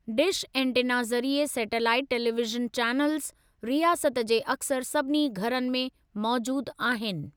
Dish antenna ज़रिए satellite television channels, रियासत जे अक्सर सभिनी घरनि में मौजूद आहिनि।